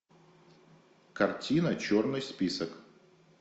картина черный список